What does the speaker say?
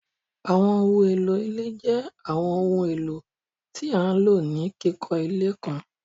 Àwọńohun elo ilẹ̀ jẹ́ Àwọńohun elo tí a ló ni kikọ ilẹ̀ kàn.